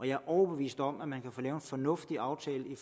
jeg er overbevist om at man kan få lavet en fornuftig aftale med